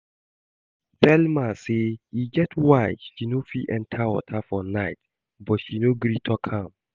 Thelma say e get why she no fit enter water for night but she no gree talk am